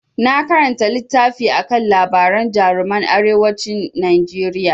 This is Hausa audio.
Na karanta littafi akan labaran jaruman arewacin Najeriya.